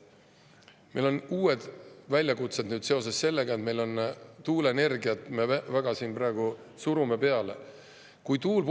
Meil on uued väljakutsed seoses sellega, et me tuuleenergiat siin praegu väga peale surume.